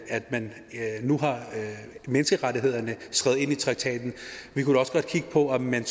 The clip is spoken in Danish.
at man nu har menneskerettighederne skrevet ind i traktaten og vi kunne da også godt kigge på om man